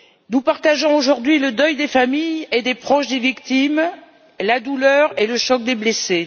Nous partageons aujourd'hui le deuil des familles et des proches des victimes, la douleur et le choc des blessés.